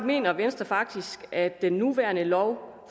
mener venstre faktisk at den nuværende lov